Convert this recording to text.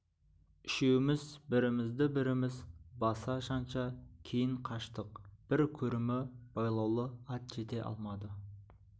үшеуміз бірімізді-біріміз баса-жанша кейін қаштық бір көрімі байлаулы ат жете алмады